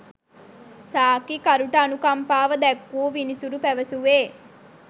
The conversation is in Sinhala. සාක්කිකරුට අනුකම්පාව දැක්වූ විනිසුරු පැවසුවේ